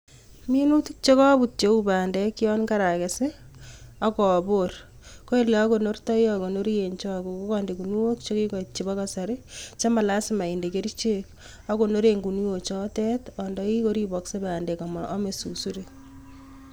Minutik chekaput cheu pandek, yon karakes ak abor. Ole akonortai, andeni choke eng kinuok chekikoit chebo kasari chema lasima inde kerichek. Akonoren kinuok chotok andai koripaksei pandek ama amei susurik.